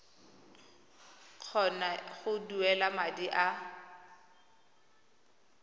kgona go duela madi a